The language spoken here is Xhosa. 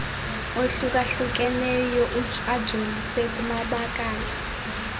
ohlukahlukeneyo ajolise kumabakala